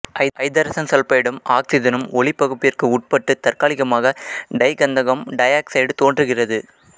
ஐதரசன் சல்பைடும் ஆக்சிசனும் ஒளிப்பகுப்பிற்கு உட்பட்டு தற்காலிகமாக டைகந்தகம் டையாக்சைடு தோன்றுகிறது